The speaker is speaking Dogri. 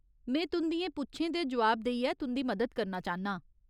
में तुं'दियें पुच्छें दे जोआब देइयै तुं'दी मदद करना चाह्न्नां।